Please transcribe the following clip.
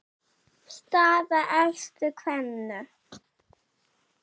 Við munum alltaf sakna hans.